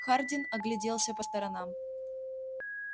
хардин огляделся по сторонам